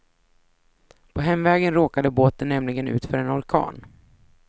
På hemvägen råkade båten nämligen ut för en orkan.